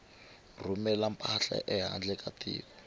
rhumela mpahla ehandle ka tiko